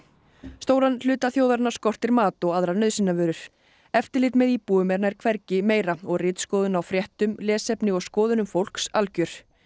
stóran hluta þjóðarinnar skortir mat og aðrar nauðsynjavörur eftirlit með íbúum er nær hvergi meira og ritskoðun á fréttum lesefni og skoðunum fólks algjör